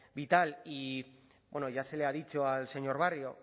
vital y ya se le ha dicho al señor barrio